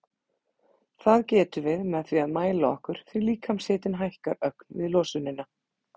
Það getum við með því að mæla okkur því líkamshitinn hækkar ögn við losunina.